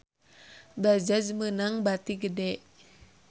Bajaj meunang bati gede